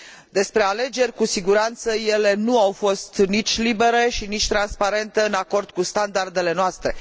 Despre alegeri cu siguranță ele nu au fost nici libere și nici transparente, în acord cu standardele noastre.